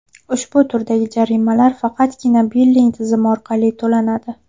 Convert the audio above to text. Ushbu turdagi jarimalar faqatgina billing tizmi orqali to‘lanadi.